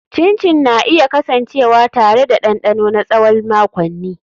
Chin chin na iya kasancewa tare da dandano na tsawon makonni.